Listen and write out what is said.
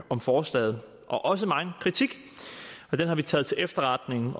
om forslaget og også megen kritik den har vi taget til efterretning